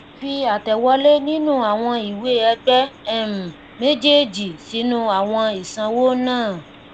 fi àtẹwọlé nínú àwọn ìwée ẹgbẹ um méjèèjì sínú àwọn ìsanwó naa